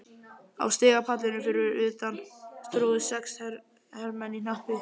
Á stigapallinum fyrir utan tróðust sex hermenn í hnappi.